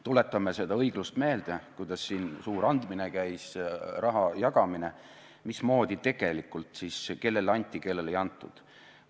Tuletame seda õiglust meelde, kuidas siin käis suur andmine, raha jagamine, mismoodi tegelikult siis kellele anti ja kellele ei antud.